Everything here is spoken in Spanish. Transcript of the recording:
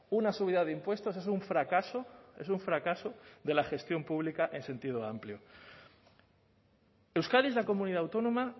una subida de impuestos es un fracaso es un fracaso de la gestión pública en sentido amplio euskadi es la comunidad autónoma